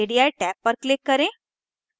radii tab पर click करें